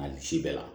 A ni si bɛɛ la